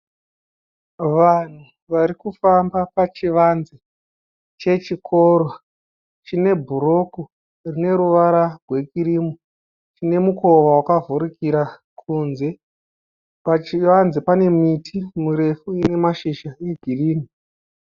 Vanhu vari kufamba pachivanze chechikoro chine bhuroku rine ruvara rwekirimu, chine mukova wakavhurikira kunze. Pachivanze pane miti murefu ine mashizha egirini.